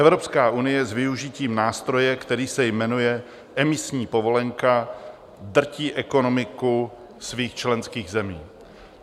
Evropská unie s využitím nástroje, který se jmenuje emisní povolenka drtí ekonomiku svých členských zemí.